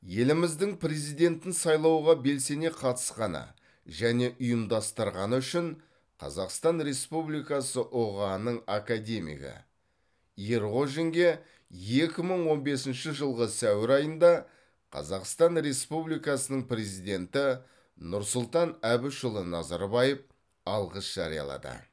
еліміздің президентін сайлауға белсене қатысқаны және ұйымдастырғаны үшін қазақстан республикасы ұға ның академигі ерғожинге екі мың он бесінші жылғы сәуір айында қазақстан республикасының президенті нұрсұлтан әбішұлы назарбаев алғыс жариялады